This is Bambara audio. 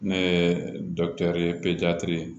Ne ye ye